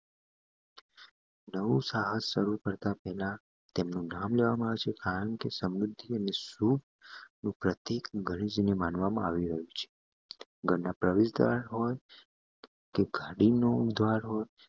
નવું સાહસ શરૂ કરતા પહેલા તેમનું નામ લેવામાં આવશે કારણ કે સમૃદ્ધિ અને શુભ માનવામાં આવી રહી છે ઘરના પ્રવેશદ્વાર હોય તે કાઢીને ઉમે